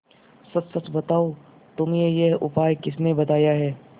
सच सच बताओ तुम्हें यह उपाय किसने बताया है